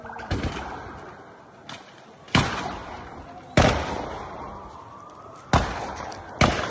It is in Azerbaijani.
Bir sıra atış səsləri eşidilir.